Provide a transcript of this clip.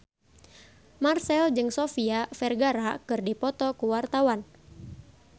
Marchell jeung Sofia Vergara keur dipoto ku wartawan